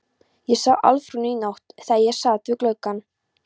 Ég sá Álfrúnu í nótt þegar ég sat við gluggann.